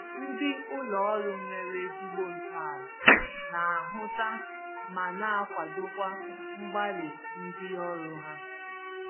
Ndị ụlọ ọrụ nwere ezigbo ntọala na-ahụta ma na-akwadokwa mgbalị ndị ọrụ ha